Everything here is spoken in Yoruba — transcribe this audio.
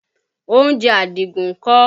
Oúnjẹ Àdìgún ń kọ́?